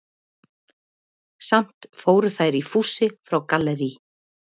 Samt fóru þær í fússi frá Gallerí